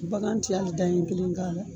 Bagan tɛ hali da ɲɛ kelen k'a la.